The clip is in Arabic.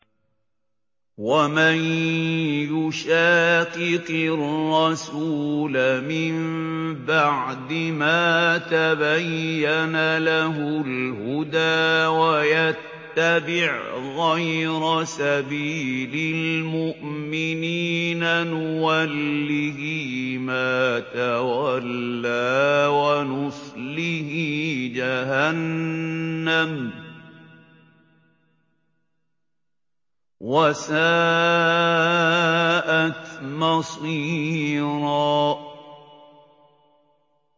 وَمَن يُشَاقِقِ الرَّسُولَ مِن بَعْدِ مَا تَبَيَّنَ لَهُ الْهُدَىٰ وَيَتَّبِعْ غَيْرَ سَبِيلِ الْمُؤْمِنِينَ نُوَلِّهِ مَا تَوَلَّىٰ وَنُصْلِهِ جَهَنَّمَ ۖ وَسَاءَتْ مَصِيرًا